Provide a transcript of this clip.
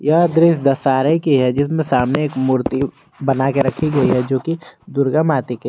यह दृश्य दशहरे की है जिसमें सामने एक मूर्ति बना कर रखी गई है जो कि दुर्गा माते की है।